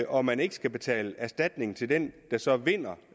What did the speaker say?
og man ikke skal betale erstatning til den der så vinder